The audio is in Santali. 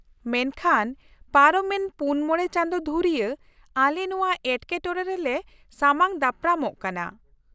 ᱢᱮᱱᱠᱷᱟᱱ, ᱯᱟᱨᱚᱢᱮᱱ ᱔ᱼ᱕ ᱪᱟᱸᱫᱳ ᱫᱷᱩᱨᱭᱟᱹ ᱟᱞᱮ ᱱᱚᱶᱟ ᱮᱴᱠᱮᱴᱚᱬᱮ ᱨᱮᱞᱮ ᱥᱟᱢᱟᱝ ᱫᱟᱯᱨᱟᱢᱚᱜ ᱠᱟᱱᱟ ᱾